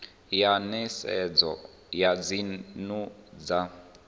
ya nisedzo ya dzinnu dza